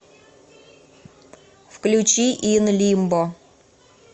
включи ин лимбо